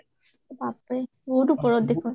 বাপৰে, বহুত ওপৰত দেখুওন